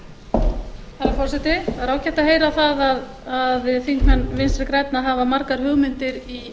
það er ágætt að heyra að þingmenn vinstri grænna hafa margar hugmyndir í